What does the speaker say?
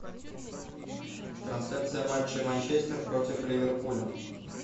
трансляция матча манчестер против ливерпуля